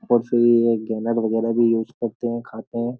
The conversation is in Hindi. और फिर ये गैनर वगैरह भी यूज करते हैं खाते हैं।